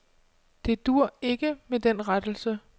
Det duer ikke med den rettelse.